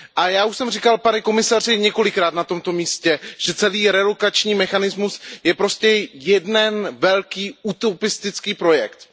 Já už jsem říkal, pane komisaři, několikrát na tomto místě, že celý relokační mechanismus je prostě jeden velký utopistický projekt.